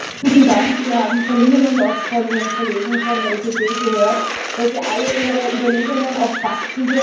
Wir haben von Ihnen und auch von Ihren Kollegen von der EPP gehört, dass alle Ihre Überlegungen auf Fakten beruhen.